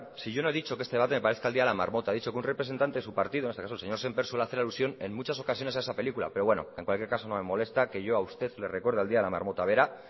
si yo no he dicho que este debate me parezca el día de la marmota he dicho que un representante de su partido en este caso el señor sémper suele hacer alusión en muchas ocasiones a esa película pero bueno en cualquier caso no me molesta que yo a usted le recuerde el día de la marmota verá